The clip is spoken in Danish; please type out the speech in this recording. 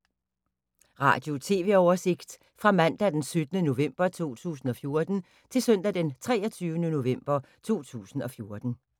Radio/TV oversigt fra mandag d. 17. november 2014 til søndag d. 23. november 2014